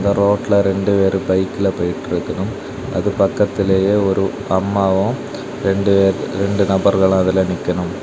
ரோட்ல ரெண்டு பேரு பைக்ல போயிட்டு இருக்கணும் அது பக்கத்திலேயே ஒரு அம்மாவும் ரெண்டு ரெண்டு நபர்கள் அதுல நிக்கணும்.